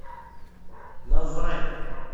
назрань